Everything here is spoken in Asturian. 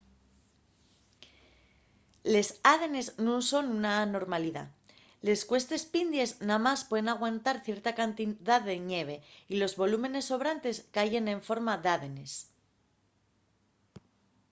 les ádenes nun son una anormalidá. les cuestes pindies namás pueden aguantar cierta cantidá de ñeve y los volúmenes sobrantes cayen en forma d’ádenes